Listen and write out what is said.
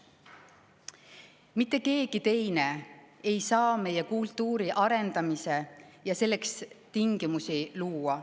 Mitte keegi teine ei saa meie kultuuri arendada ja selleks tingimusi luua.